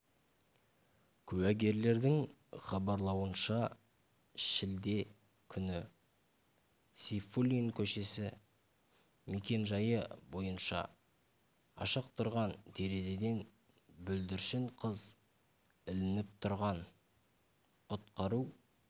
куәгерлердің хабарлауынша шілде күні сейфуллин көшесі мекенжайы бойынша ашық тұрған терезеден бүлдіршін қыз ілініп тұрған құтқару